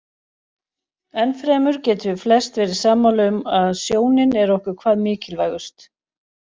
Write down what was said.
Enn fremur getum við flest verið sammála um að sjónin er okkur hvað mikilvægust.